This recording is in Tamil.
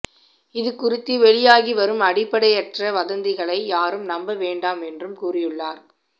இதுகுறித்து வெளியாகி வரும் அடிப்படையற்ற வதந்திகளை யாரும் நம்ப வேண்டாம் என்றும் கூறியுள்ளார்